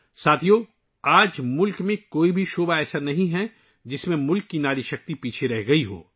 ساتھیو، آج ملک کا کوئی علاقہ ایسا نہیں ، جس میں ملک کی ناری شکتی پیچھے رہ گئی ہو